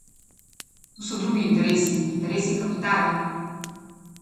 Tu so drugi interesi, interesi kapitala.